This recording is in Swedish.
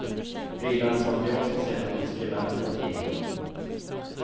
Frilansmaterial skall sälja både skribenten och tidningen.